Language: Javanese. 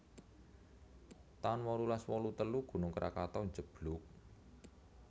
taun wolulas wolu telu Gunung Krakatu njeblug